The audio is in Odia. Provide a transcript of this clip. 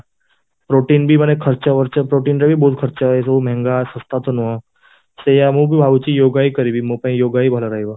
ପ୍ରୋଟିନ ବି ମାନେ ଖର୍ଚ୍ଚ ପ୍ରୋଟିନ ରେ ବି ବହୁତ ଖର୍ଚ୍ଚ ହୁଏ ବି ସବୁ ମହଙ୍ଗା ଶସ୍ତା ତ ନୁହଁ, ସେଇଆ ମୁଁ ବି ଭାବୁଛି yoga ହିଁ କରିବି ମୋ ପାଇଁ yoga ହି ଭଲ ରହିବ